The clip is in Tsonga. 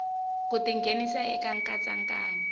ku ti nghenisa eka nkatsakanyo